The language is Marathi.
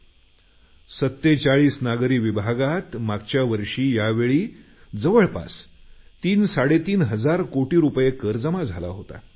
मागच्या वर्षी 47 नागरी विभागात जवळपास तीनसाडेतीन हजार कोटी रुपयांचा कर जमा झाला होता